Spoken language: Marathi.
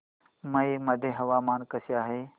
मौ मध्ये हवामान कसे आहे